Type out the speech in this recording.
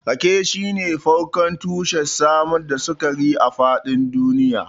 Rake shine farkon tushen samar da sukari a faɗin duniya.